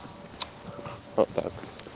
вот так